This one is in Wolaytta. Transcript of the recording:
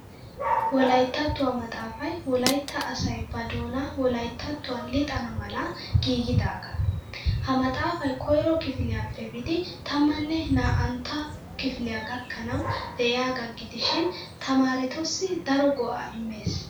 Wolayttattuwa maxxaafay wolaytta asay ba doonaa wolayttattuwan lixana mala giigidaagaa. Ha maxxaafay koyro kifiliyappe biidi tammanne naa'antta kifiliya gakkanawu de'iyaagaa gidishin tamaaretussi daro go'aa immes.